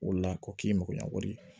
O la ko k'i makoɲɛko ye